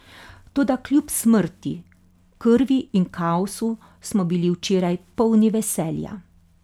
Toda kljub smrti, krvi in kaosu smo bili včeraj polni veselja.